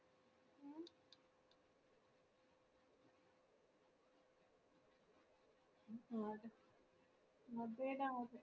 അതേടാ